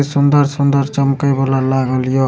सुन्दर-सुन्दर चमके वाला लागल या।